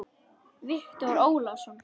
Viktor Ólason.